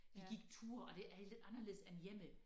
Vi gik ture og det er lidt anderledes end hjemme